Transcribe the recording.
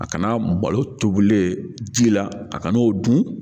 A kana malo tobilen ji la a ka n'o dun